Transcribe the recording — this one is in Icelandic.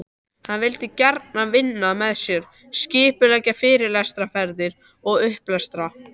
Hann vildi gjarnan vinna með mér, skipuleggja fyrirlestraferðir og upplestra.